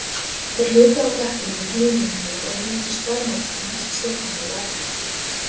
Þeir hlupu á blettinum í tíu mínútur og einungis þvermóðskan hélt Stefáni við efnið.